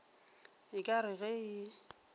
e ka re ge e